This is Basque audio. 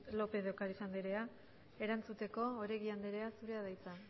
lópez de ocariz andrea erantzuteko oregi andrea zurea da hitza